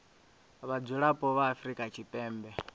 vha mudzulapo wa afrika tshipembe